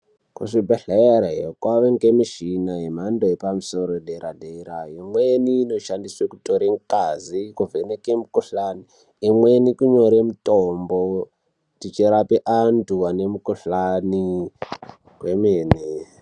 Kuzvibhehlera iyo kwava nemishini yemando yepamusoro dera-dera, imweni inoshandiswe kutore ngazi, kuvheneke mikuhlani, imweni kunyore mitombo tichirape antu ane mikuhlani kwemene.